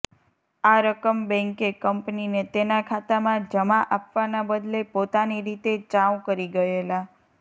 આ રકમ બેંકે કંપનીને તેના ખાતામાં જમા આપવાના બદલે પોતાની રીતે ચાઉ કરી ગયેલા